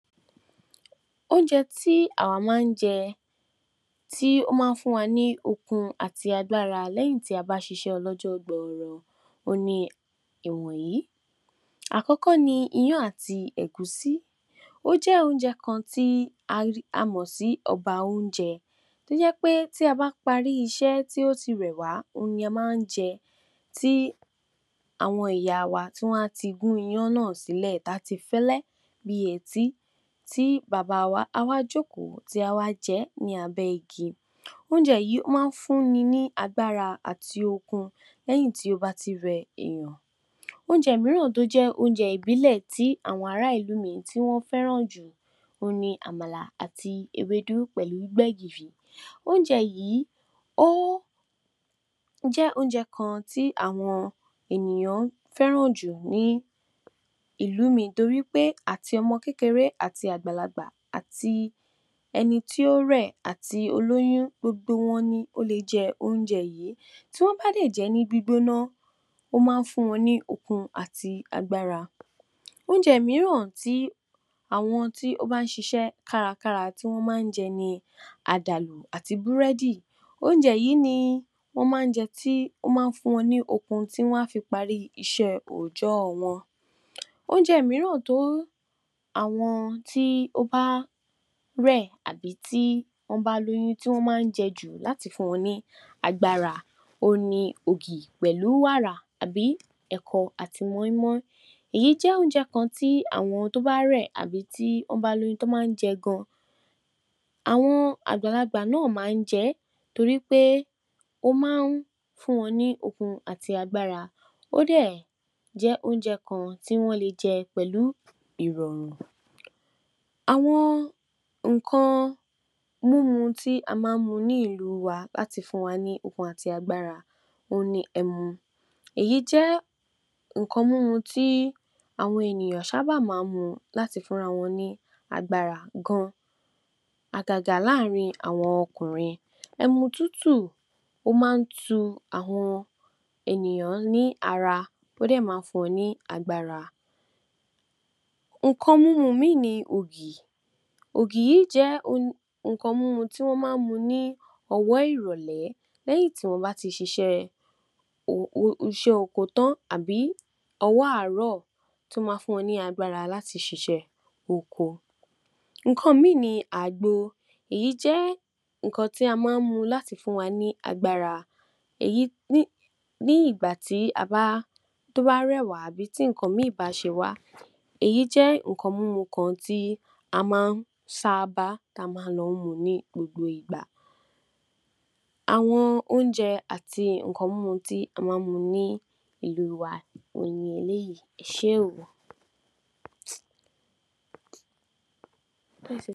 Oúnjẹ tí àwa máa ń jẹ tí ó máa fún wa ní okun àti agbára lẹ́yìn tí a bá a ṣiṣẹ́ ọlọ́jọ́ gbọọrọ ohun ni wọ̀nyìí. Àkọ́kọ́ ní Iyán àti Ẹ̀gúsí, ó jẹ oúnjẹ kan tí a mọ̀ sí ọba oúnjẹ tí ó jẹ ti a bá a parí iṣẹ́ tí ó tì rẹ̀ wá ohun ni a máa ń jẹ ti àwọn ìyá wá máa tí gún Iyán náà sílẹ̀ tí fẹ́lẹ́ bí etí, tí bàbá wa á wá jókòó tí a wá jẹ ní abẹ́ igi, oúnjẹ yìí, ó máa ń fún ni ní agbára àti okun lẹ́yìn tí ó bá a ti rẹ̀ èèyàn. Oúnjẹ mìíràn tí ó jẹ oúnjẹ ìbílẹ̀ tí àwọn aráàlú mi tí wọn fẹ́ràn jù ohun ni Àmàlà, àti Ewédú pẹ̀lú Gbẹgìrì. Oúnjẹ yìí, ó jẹ oúnjẹ kan tí àwọn èèyàn fẹ́ràn jù ní ìlú mi nítorí pé àti ọmọ kékeré àti àgbàlagbà, àti ẹni tí ó rẹ̀ àti olóyún gbogbo wọn ní o lè jẹ oúnjẹ yìí, tí wọ́n bá a dẹ̀ jẹ ní gbígbóná, ó máa ń fún wọn ní okun àti agbára. Oúnjẹ mìíràn tí àwọn tí ó bá ń ṣiṣẹ́ kárakára tí wọ́n máa ń jẹ ní Àdàlù àti Búrẹ́dì, oúnjẹ yìí ni wọn máa ń jẹ tí wọ́n máa ń fún wọn ni okun tí wọn á fí parí iṣẹ́ oójó wọn. Oúnjẹ mìíràn tí àwọn tí ó bá rẹ̀, àbí tí wọ́n bá a lóyún tí wọn máa ń jẹ jù láti fún wọn ní agbára, ohun ni Ogì pẹ̀lú Wàrà, àbí Ẹ̀kọ àti Mọ́í-mọ́í, èyí jẹ́ oúnjẹ kan tí àwọn tí ó bá a rẹ̀ àbí tí wọ́n bá a lóyún tí wọn máa ń jẹ gan-an, àwọn àgbàlagbà náà máa ń jẹ nítorí pé ó máa ń fún wọn ní okun àti agbára, ó dẹ̀ jẹ́ oúnjẹ kan tí wọ́n lé jẹ pẹ̀lú ìrọrùn. Àwọn nǹkan múmu tí a máa ń mu nílùú wa láti fún wa ní okun àti agbára, ohun ni ẹmu, èyí jẹ́ nǹkan mímu tí àwọn ènìyàn sábà máa ń mu láti fún ara wọn ní agbára gan-an, àgagà láàárín àwọn ọkùnrin, ẹmu tútù ó máa ń tù àwọn ènìyàn ní ara ó dẹ̀ máa ń fún wọn ní agbára. Nǹkan mímu míì ni Ogì, Ogì yìí jẹ [oun] nǹkan mímu tí wọn máa ń mu ni ọwọ́ ìrọ̀lẹ́, lẹ́yìn tí wọ́n bá a ti ṣe iṣẹ́ [hm hmm] oko tán, àbí ní ọwọ́ àárọ̀, tí ó máa fún wọn ní agbára láti ṣiṣẹ́ oko. Nǹkan míì ni àgbo, èyí jẹ́ nǹkan tí ó máa ń mu láti fún wa ní agbára [eyi ni] nígbà tí ó bá a rẹ̀ wá tàbí tí nǹkan bá ń ṣe wá, èyí jẹ́ nnkan mímu kan tí a máa ń sábá tí a máa ń lọ mu ni gbogbo ìgbà. Àwọn oúnjẹ àti nǹkan mímu tí a máa ń mu nílùú wa ni eléyìí, Ẹ ṣe oo.